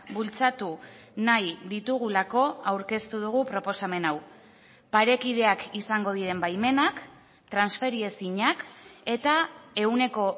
bultzatu nahi ditugulako aurkeztu dugu proposamen hau parekideak izango diren baimenak transferiezinak eta ehuneko